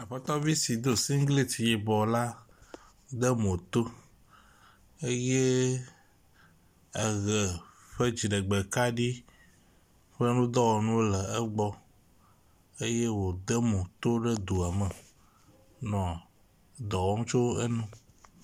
Aƒetɔvi si do siglet yibɔ la de mo to, eye eʋe ƒe dziɖegbe kaɖi ƒe nudɔwɔnuwo le egbɔ eye wode mo to ɖe doa me henɔ dɔ wɔm le enu